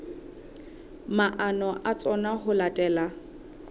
maano a tsona ho latela